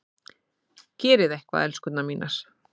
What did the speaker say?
Gerið eitthvað, elskurnar mínar!